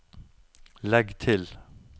legg til